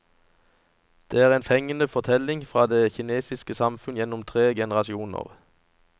Det er en fengende fortelling fra det kinesiske samfunn gjennom tre generasjoner.